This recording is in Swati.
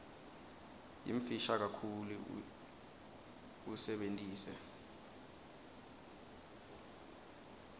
yimfisha kakhulu usebentise